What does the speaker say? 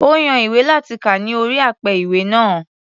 Ó yan ìwé láti kà ní orí apẹ-ìwé náà.